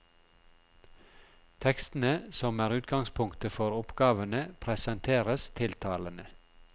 Tekstene, som er utgangspunktet for oppgavene, presenteres tiltalende.